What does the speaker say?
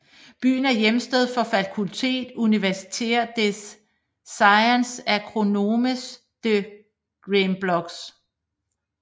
Byen er hjemsted for Faculté universitaire des Sciences agronomiques de Gembloux